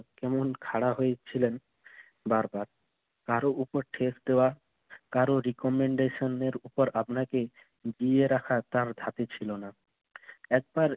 এমন খাড়া হয়েছিলেন বার বার। কারো উপর ঠেস দেওয়া, কারো recomendation এর উপর আপনাকে জিইয়ে রাখা তার ধাতে ছিল না। একবার